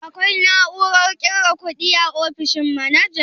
Akwai na'urar ƙirga kuɗi a ofishin manajan?